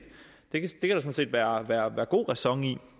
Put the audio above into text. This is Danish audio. være god ræson i